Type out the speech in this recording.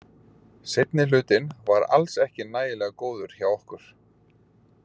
Seinni hlutinn var alls ekki nægilega góður hjá okkur.